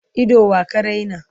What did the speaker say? Ido wa ka raina?